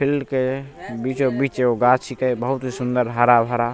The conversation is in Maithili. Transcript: फिल्ड के बीचो-बीच एगो गाछ छीये बहुत ही सुन्दर हरा-भरा।